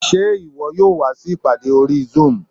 Ṣé ìwọ yóò wá sí ìpàdé orí zoom?